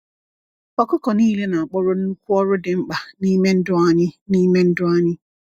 Ọkụkọ niile na-akpọrọ nnukwu ọrụ dị mkpa n’ime ndụ anyị. n’ime ndụ anyị.